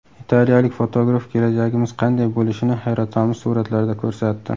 Italiyalik fotograf kelajagimiz qanday bo‘lishini hayratomuz suratlarda ko‘rsatdi.